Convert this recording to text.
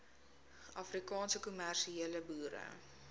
afrikaanse kommersiële boere